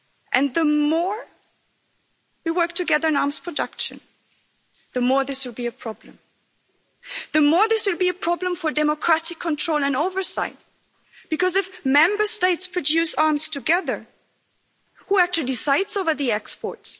And the more we work together in arms production, the more this will be a problem the more this will be a problem for democratic control and oversight, because if Member States produce arms together, who actually decides over the exports?